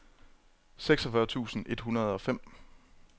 seksogfyrre tusind et hundrede og fem